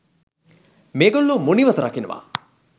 මේ ගොල්ලෝ මුනිවත රකිනවා